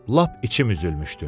Lap içim üzülmüşdü.